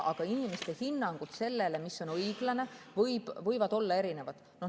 Aga inimeste hinnangud sellele, mis on õiglane, võivad olla erinevad.